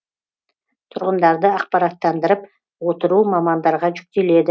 тұрғындарды ақпараттандырып отыру мамандарға жүктеледі